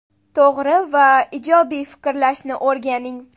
To‘g‘ri va ijobiy fikrlashni o‘rganing.